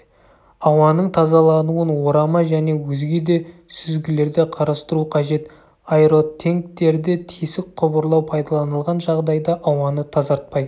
ауаның тазалануын орама және өзге де сүзгілерде қарастыру қажет аэротенктерде тесік құбырлар пайдаланылған жағдайда ауаны тазартпай